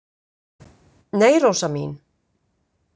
Nei, Rósa mín.